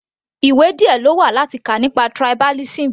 Ìwé díẹ̀ lówà láti kà nípa tribalism.